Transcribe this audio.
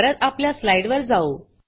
परत आपल्या स्लाइड वर जाऊ